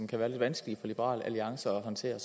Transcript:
kan være lidt vanskelige for liberal alliance at håndtere